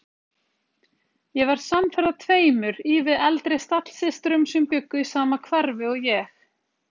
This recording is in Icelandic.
Ég varð samferða tveimur ívið eldri stallsystrum sem bjuggu í sama hverfi og ég.